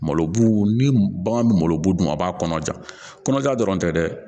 Malo bu ni bagan bɛ malobu dun a b'a kɔnɔja kɔnɔja dɔrɔn tɛ dɛ